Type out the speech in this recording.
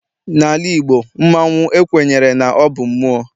N'ala Igbo, mmanwu ekwenyere na ọ bụ mmụọ.